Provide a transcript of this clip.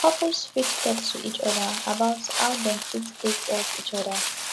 couples fit talk to each oda about how dem fit take help each oda